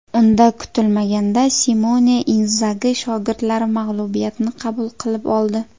Unda kutilmaganda Simone Inzagi shogirdlari mag‘lubiyatni qabul qilib oldi.